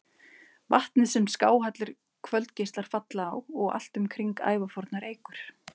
Vatnið, sem skáhallir kvöldgeislar falla á og allt um kring ævafornar eikur.